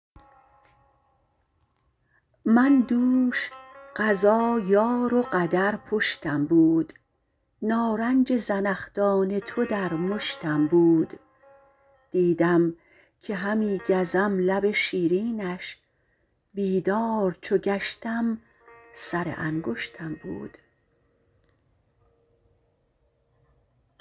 من دوش قضا یار و قدر پشتم بود نارنج زنخدان تو در مشتم بود دیدم که همی گزم لب شیرینش بیدار چو گشتم سر انگشتم بود